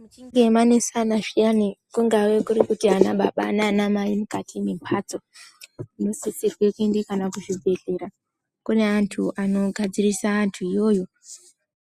Muchinge manesana zviyani , kungave kurikuti ana baba naana mai mukati memhatso ,kunisisirwe kuenda kana kuzvibhedhleya, kune antu anogadzirise antu iyoyo